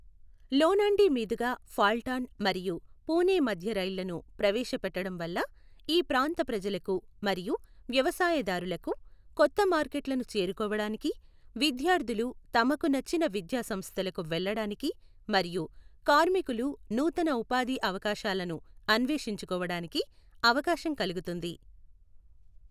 లోనాండీ మీదుగా ఫాల్టాన్ మరియు పూణే మధ్య రైళ్లను ప్రవేశపెట్టడం వల్ల ఈ ప్రాంత ప్రజలకు మరియు వ్యవసాయదారులకు కొత్త మార్కెట్లను చేరుకోవడానికి, విద్యార్థులు తమకు నచ్చిన విద్యా సంస్థలకు వెళ్ళడానికి మరియు కార్మికులు నూతన ఉపాధి అవకాశాలను అన్వేషించుకోవడానికి అవకాశం కలుగుతుంది.